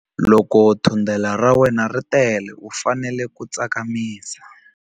Loko thundelo ra wena ri tele u fanele ku tsakamisa.